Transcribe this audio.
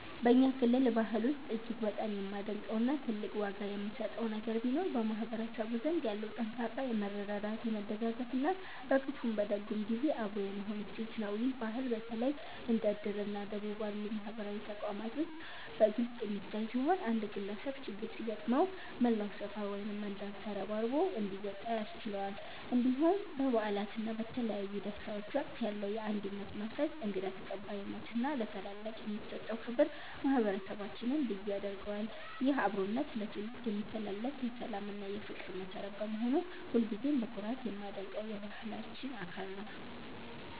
በእኛ ክልል ባህል ውስጥ እጅግ በጣም የማደንቀው እና ትልቅ ዋጋ የምሰጠው ነገር ቢኖር በማህበረሰቡ ዘንድ ያለው ጠንካራ የመረዳዳት፣ የመደጋገፍ እና በክፉም በደግም ጊዜ አብሮ የመሆን እሴት ነው። ይህ ባህል በተለይ እንደ 'እድር' እና 'ደቦ' ባሉ ማህበራዊ ተቋማት ውስጥ በግልጽ የሚታይ ሲሆን፣ አንድ ግለሰብ ችግር ሲገጥመው መላው ሰፈር ወይም መንደር ተረባርቦ እንዲወጣ ያስችለዋል። እንዲሁም በበዓላት እና በተለያዩ ደስታዎች ወቅት ያለው የአንድነት መንፈስ፣ እንግዳ ተቀባይነት እና ለታላላቅ የሚሰጠው ክብር ማህበረሰባችንን ልዩ ያደርገዋል። ይህ አብሮነት ለትውልድ የሚተላለፍ የሰላም እና የፍቅር መሠረት በመሆኑ ሁልጊዜም በኩራት የማደንቀው የባህላችን አካል ነው።